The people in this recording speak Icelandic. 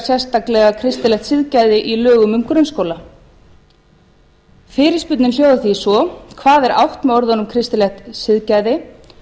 sérstaklega kristilegt siðgæði í lögum um grunnskóla fyrirspurnin hljóðar því svo fyrstu hvað er átt við með orðunum kristilegt siðgæði og